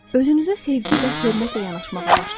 Özünüzə sevgi və hörmətlə yanaşmağa başlayın.